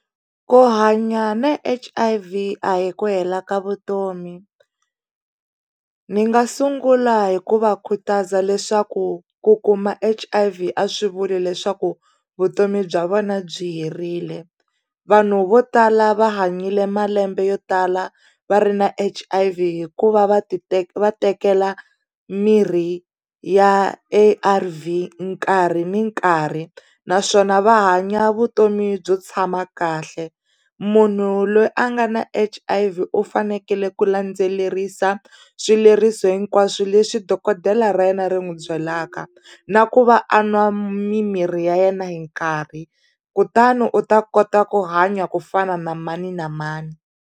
Ku hanya na H_I_V a hi ku hela ka vutomi ni nga sungula hi ku va khutaza leswaku ku kuma H_I_V swi vuli leswaku vutomi bya vona byi herile vanhu vo tala va hanyile malembe yo tala va ri na H_I_V hikuva va va tekela mirhi ya A_R_V nkarhi ni nkarhi naswona va hanya vutomi byo tshama kahle munhu loyi a nga na H_I_V u fanekele ku landzelerisa swileriso hinkwaswo leswi dokodela ra yena ri n'wi byelaka na ku va a nwa mimirhi ya yena hi nkarhi kutani u ta kota ku hanya ku fana na mani na mani.